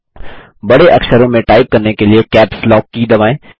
बड़े अक्षरों में टाइप करने के लिए कैप्स लॉक की दबाएँ